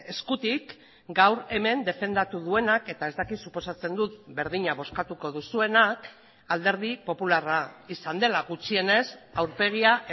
eskutik gaur hemen defendatu duenak eta ez dakit suposatzen dut berdina bozkatuko duzuenak alderdi popularra izan dela gutxienez aurpegia